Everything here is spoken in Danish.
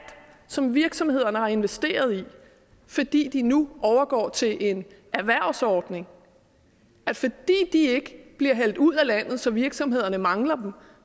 som virksomhederne har investeret i idet de nu overgår til en erhvervsordning ikke bliver hældt ud af landet så virksomhederne mangler dem